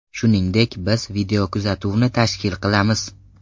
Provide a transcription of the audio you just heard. Shuningdek, biz videokuzatuvni tashkil qilamiz.